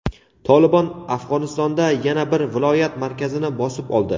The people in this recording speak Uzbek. "Tolibon" Afg‘onistonda yana bir viloyat markazini bosib oldi.